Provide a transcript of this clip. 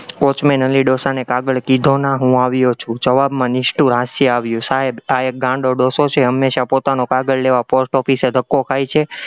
Watchman Ali ડોસાને કાગળ કીધો ના હું આવ્યો છું, જવાબમાં નિષ્ઠુર હાસ્ય આવ્યું, સાહેબ આ એક ગાંડો ડોસો છે, હંમેશા પોતાનો કાગળ લેવા post-office એ ધક્કો ખાય છે.